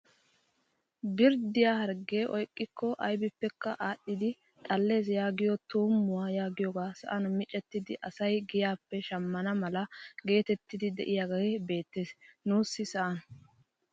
Birddiyaa harggee oyqikko aybippekka adhidi xallees yaagiyoo tuummuwaa yagiyoogee sa'an micettidi asay giyaappe shammana mala getettidi de'iyaagee beettees nuussi sa'an!